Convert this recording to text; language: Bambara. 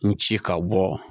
N ci ka bɔ